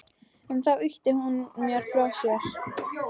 En þá ýtir hún mér frá sér.